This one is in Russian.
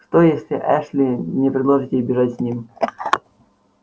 что если эшли не предложит ей бежать с ним